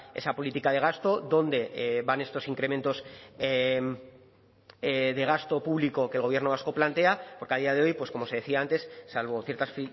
esa política de gasto dónde van estos incrementos de gasto público que el gobierno vasco plantea porque a día de hoy pues como se decía antes salvo ciertas